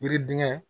Yiriden